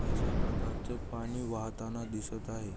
अश्या प्रकारचं पाणी वाहताना दिसत आहे.